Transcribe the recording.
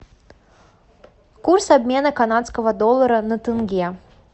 курс обмена канадского доллара на тенге